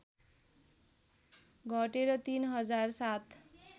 घटेर ३ हजार ७